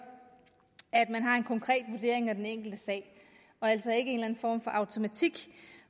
at man har en konkret vurdering af den enkelte sag og altså ikke en form for automatik